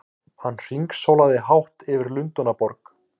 Hann hringsólaði hátt yfir Lundúnaborg!